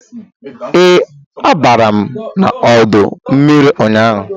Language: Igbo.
Ee, abara m ọdọ mmiri ụnyaahụ